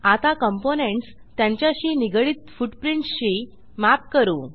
आता कॉम्पोनेंट्स त्यांच्याशी निगडीत फुटप्रिंट्स शी मॅप करू